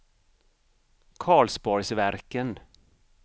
Karlsborgsverken